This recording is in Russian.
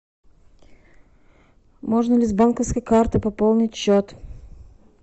можно ли с банковской карты пополнить счет